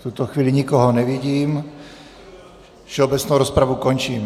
V tuto chvíli nikoho nevidím, všeobecnou rozpravu končím.